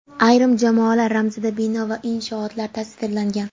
Ayrim jamoalar ramzida bino va inshootlar tasvirlangan.